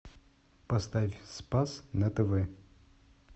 поставь спас на тв